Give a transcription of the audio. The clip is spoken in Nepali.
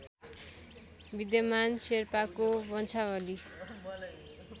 विद्यमान शेर्पाको वंशावली